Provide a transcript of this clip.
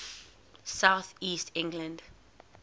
south east england